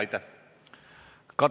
Aitäh!